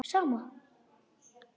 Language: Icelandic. Ég vona ekki